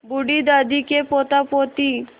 बूढ़ी दादी के पोतापोती